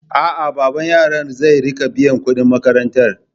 A'a, baban yaran zai riƙa biyan kuɗin makarantar.